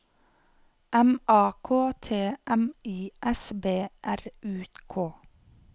M A K T M I S B R U K